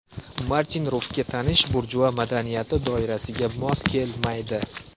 Martin Rufga tanish burjua madaniyati doirasiga mos kelmaydi.